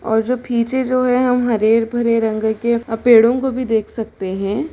-- और जो पीछे जो है वो हरे-भरे रंग के अ पेड़ो को भी देख सकते है।